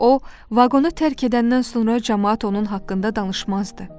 O, vaqonu tərk edəndən sonra camaat onun haqqında danışmazdı.